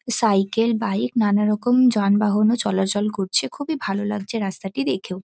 Cycle bike নানারকম যানবাহনও চলাচল করছে। খুবই ভালো লাগছে রাস্তাটি দেখেও।